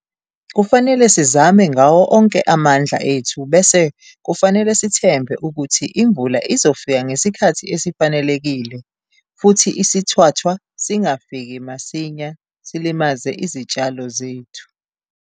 Kufanele sizame ngawo onke amandla ethu bese kufanele sithembe ukuthi imvula izofika ngesikhathi esifanelekile futhi isithwathwa singafiki masinya silimaze izitshalo zethu.